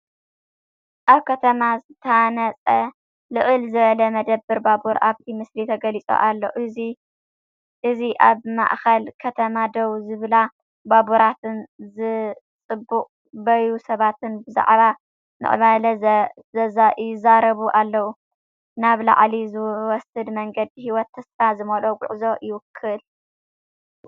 ኣብ ከተማ ዝተሃንጸ ልዕል ዝበለ መደበር ባቡር ኣብቲ ምስሊ ተገሊጹ ኣሎ። እዚ ኣብ ማእከል ከተማ ደው ዝብላ ባቡራትን ዝጽበዩ ሰባትን ብዛዕባ ምዕባለ ይዛረቡ ኣለው። ናብ ላዕሊ ዝወስድ መንገዲ ህይወትን ተስፋን ዝመልኦ ጉዕዞ ይውክል።